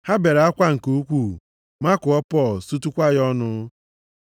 Ha bere akwa nke ukwuu, makụọ Pọl, sutukwa ya ọnụ.